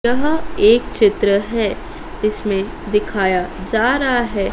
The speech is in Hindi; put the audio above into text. यह एक चित्र है इसमें दिखाया जा रहा है।